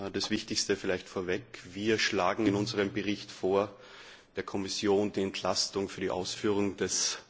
Das Wichtigste vorweg Wir schlagen in unserem Bericht vor, der Kommission die Entlastung für die Ausführung des